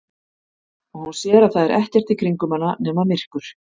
Og hún sér að það er ekkert í kringum hana nema myrkur.